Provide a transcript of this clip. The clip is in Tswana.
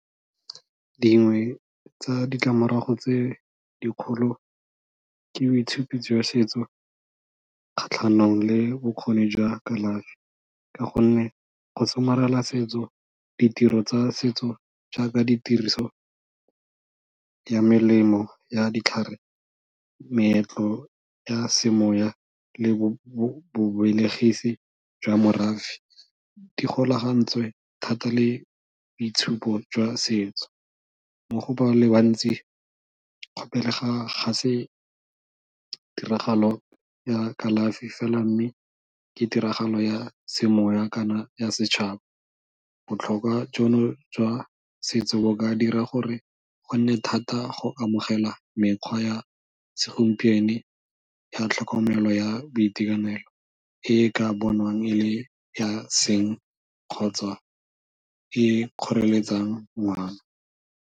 Dingwe tsa ditlamorago tse dikgolo ke boitshupi jwa setso kgatlhanong le bokgoni jwa kalafi, ka gonne go somarela setso, ditiro tsa setso jaaka ditiriso le melemo ya ditlhare, meetlo ya semoya le bobelegisi jwa morafe di golagantswe thata le boitshupo jwa setso mo go bale bantsi ga se tiragalo ya kalafi fela mme ke tiragalo ya semoya kana ya setšhaba. Botlhokwa jono jwa setso bo ka dira gore go nne thata go amogela mekgwa ya segompieno ya tlhokomelo ya boitekanelo e e ka bonwang e le ya seeng kgotsa e kgoreletsang ngwana.